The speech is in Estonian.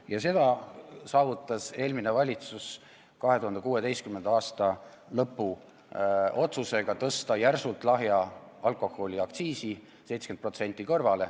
Ja seda põhjustas eelmine valitsus 2016. aasta lõpus tehtud otsusega tõsta järsult lahja alkoholi aktsiisi: korraga 70%.